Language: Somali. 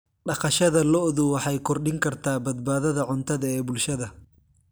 Dhaqashada lo'du waxay kordhin kartaa badbaadada cuntada ee bulshada.